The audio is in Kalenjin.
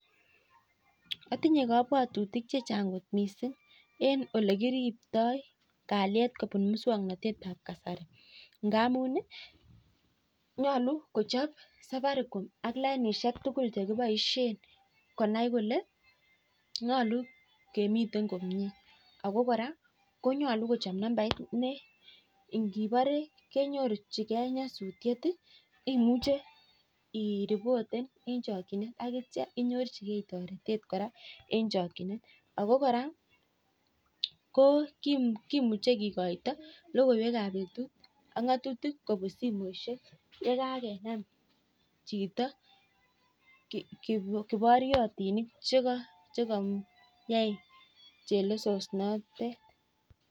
Atinye kabwatutik chechang kot mising en olekiribtoi kaliet kobun muswaknatet ab kasari ngab ngamun nyalu kochob Safaricom ak lainishek tugul chekibaishen konai Kole nyalu kemiten komie ako koraa konyalu kochap nambait ne ingibare inyorchigei nyasutiet imuche iriboten en chakinet akitya inyorchigei taretet koraa koraa kimuche kikoito logoiywek ab betut ak ngatutik kobun simoishek yekakenam Chito kibariotinik chekayai kelesinatet